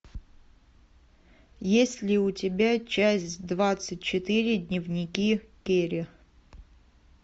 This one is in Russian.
есть ли у тебя часть двадцать четыре дневники кэрри